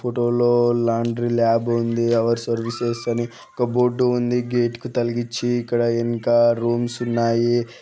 Photo లో laundry lab అని ఉందిఅవర్ సర్వీసెస్ అనే ఒక బోర్డు ఉంది గేటు కి తగిలిం ఉందిఇక్కడ ఇంకా రూమ్స్ ఉన్నాయి.